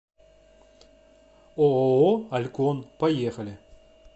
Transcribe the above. ооо алькон поехали